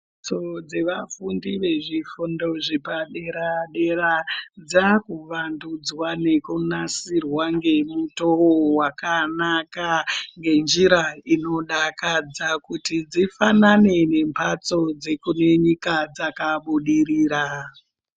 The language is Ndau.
Mhatso dzevafundi vezvifundo zvepadera-dera, dzakuvandudzwa ngekunasirwa ngemutou vakanaka ngenjira inodakadza. Kuti dzifanane memhatso dzekune nyika dzakabidirira.